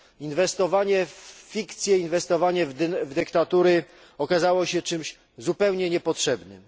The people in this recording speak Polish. Inwestowanie w fikcję, inwestowanie w dyktatury okazało się czymś zupełnie niepotrzebnym.